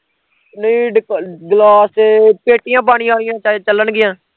ਨਹੀਂ ਡੀ ਗਲਾਸ, ਪੇਟੀਆਂ ਪਾਣੀ ਆਲੀਆਂ ਚੱਲ ਚਲਣਗੀਆਂ